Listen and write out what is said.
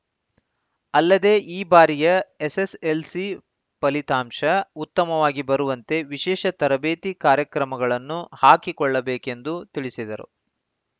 ಅಲ್ಲದೇ ಈ ಬಾರಿಯ ಎಸ್‌ಎಸ್‌ಎಲ್‌ಸಿ ಫಲಿತಾಂಶ ಉತ್ತಮವಾಗಿ ಬರುವಂತೆ ವಿಶೇಷ ತರಬೇತಿ ಕಾರ್ಯಕ್ರಮಗಳನ್ನು ಹಾಕಿಕೊಳ್ಳ ಬೇಕೆಂದು ತಿಳಿಸಿದರು